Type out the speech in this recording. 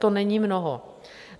To není mnoho.